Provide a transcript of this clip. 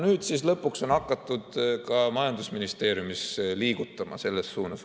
Nüüd siis lõpuks on hakatud ka majandusministeeriumis selles suunas liigutama.